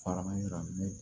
Farama